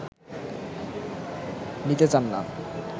নিতে চান না